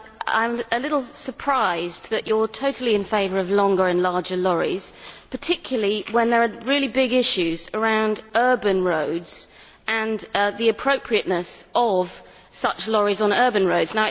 I am a little surprised that you are totally in favour of longer and larger lorries, particularly when there are really big issues around urban roads and the appropriateness of such lorries on urban roads.